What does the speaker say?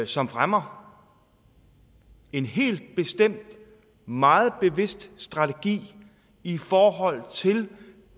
som fremmer en helt bestemt meget bevidst strategi i forhold til